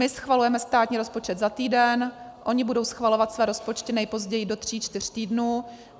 My schvalujeme státní rozpočet za týden, oni budou schvalovat své rozpočty nejpozději do tří čtyř týdnů.